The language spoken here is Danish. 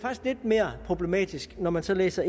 mere problematisk når man så læser